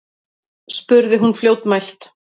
spurði hún fljótmælt.